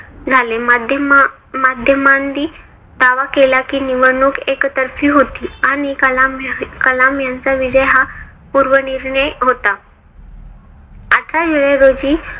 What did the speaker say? झाले. माध्यम माध्यमांनी दावा केला कि निवडणूक एकतर्फी होती आणि कलाम कलाम यांचा विजय हा पूर्व निर्णय होता. आठरा जुलै रोजी